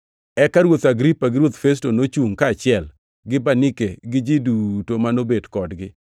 Eka Ruoth Agripa gi Ruoth Festo, nochungʼ kaachiel gi Bernike gi ji duto ma nobet kodgi.